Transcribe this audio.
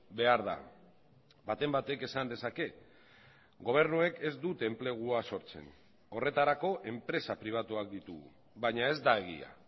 behar da baten batek esan dezake gobernuek ez dute enplegua sortzen horretarako enpresa pribatuak ditugu baina ez da egia